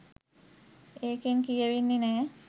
ඒකෙන් කියවෙන්නෙ නෑ